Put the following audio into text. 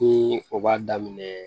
Ni o b'a daminɛ